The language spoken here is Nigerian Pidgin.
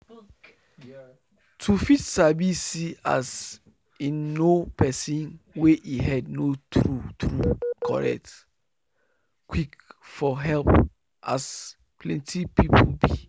to fit sabi see as in know person wey e head no true true correct quick for help as plenty people be